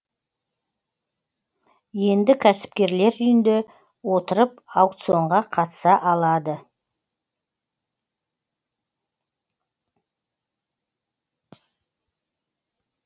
енді кәсіпкерлер үйінде отырып аукционға қатыса алады